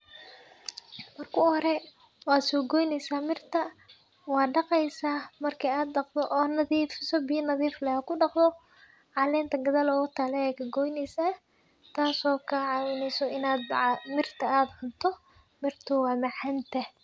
Marka u hore wad soo goyneysa mirta wad dhaqeysa marki ad dhaqdo od nadiifiso biya nadiif ad kudhaqdo caleenta gadal ogataalo ayad kagoyneysa taaso ka caawineyso inad mirta ad cunto mirta way macaan tahay